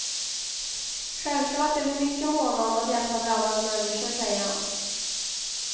Självklart är vi mycket måna om att hjälpa drabbade människor, säger han.